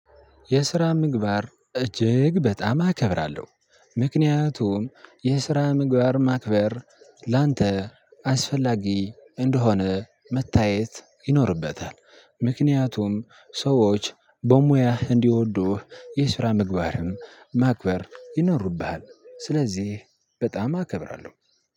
የስራ ምግባር እጅግ በጣም አከብራለሁ። ምክንያቱም የስራ ምግባር ማክበር ላንተ አስፈላጊ እንደሆነ መታየት ይኖርበታል። ምክንያቱም ሰዎች በሙያ እንዲወዱህ የስራ ምግባርህም ማክበር ይኖርብሃል። ስለዚህ በጣም አከብራለሁ።